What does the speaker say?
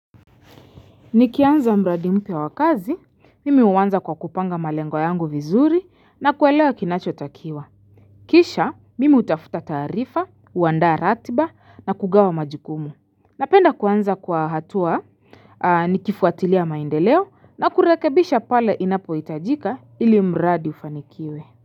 Nikianza mradi mpya wa kazi, mimi uanza kwa kupanga malengo yangu vizuri na kuelewa kinacho takiwa. Kisha, mimi utafuta tarifa, uandaa ratiba na kugawa majukumu. Napenda kuanza kwa hatua nikifuatilia maendeleo na kurekebisha pale inapo hitajika ili mradi ufanikiwe.